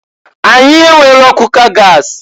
Anyị enwero kuka gas.